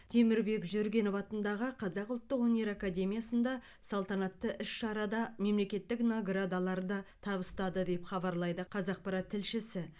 темірбек жүргенов атындағы қазақ ұлттық өнер академиясында салтанатты іс шарада мемлекеттік наградаларды табыстады деп хабарлайды қазақпарат тілшісі